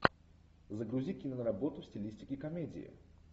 загрузи киноработу в стилистике комедии